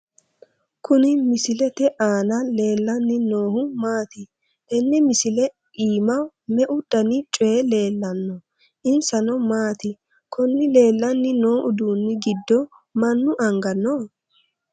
Kuni misilete aana leellanni noohu maati? tenne misile iima meu dani coyi leellanno? insano maati? konni leellanni noo uduunni giddo mannu anga no?